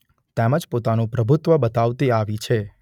તેમજ પોતાનું પ્રભુત્વ બતાવતી આવી છે.